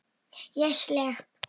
Ég slepp.